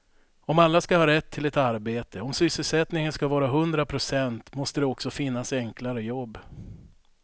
Om alla ska ha rätt till ett arbete, om sysselsättningen ska vara hundra procent måste det också finnas enklare jobb.